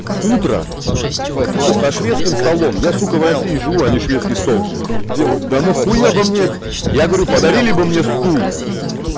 утро сука со шведским столом я сука в россии живу они шведский стол делают да на хуя бы мне этот я говорю подарили бы мне стул